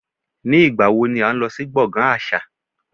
Ní ìgbà wo ni à ń lọ sí gbọ̀ngàn àṣà?